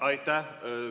Aitäh!